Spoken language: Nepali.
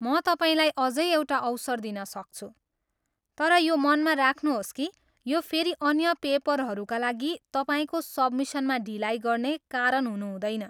म तपाईँलाई अझै एउटा अवसर दिन सक्छु, तर यो मनमा राख्नुहोस् कि यो फेरि अन्य पेपरहरूका लागि तपाईँको सब्मिसनमा ढिलाइ गर्ने कारण हुनुहुँदैन।